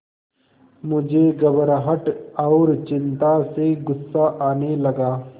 मुझे घबराहट और चिंता से गुस्सा आने लगा